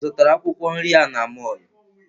Ị zụtara akwụkwọ nri a n'mọlụ?